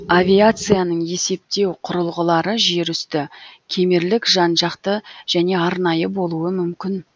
авиацияның есептеу кұрылғылары жер үсті кемерлік жан жақты және арнайы болуы мүмкін